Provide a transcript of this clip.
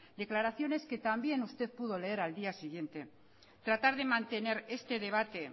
declaraciones que también usted pudo leer al día siguiente tratar de mantener este debate